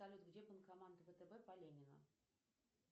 салют где банкомат втб по ленина